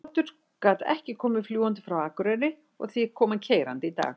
Þóroddur gat ekki komið fljúgandi frá Akureyri og því kom hann keyrandi í dag.